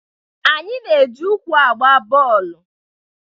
Anyị na-eji ụkwụ agba bọọlụ.